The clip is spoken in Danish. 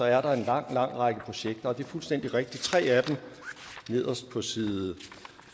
er der en lang lang række projekter og det er fuldstændig rigtigt at tre af dem nederst på side